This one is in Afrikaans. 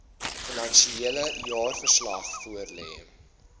finansiële jaarverslag voorlê